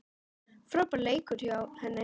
Frábær leikur hjá henni.